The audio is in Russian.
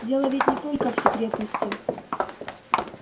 дело ведь не только в секретности